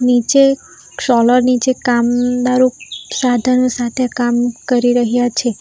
નીચે ક્ષોલર નીચે કામદારો સાધનો સાથે કામ કરી રહ્યા છે.